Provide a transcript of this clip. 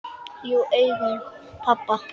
Jú, í augum pabba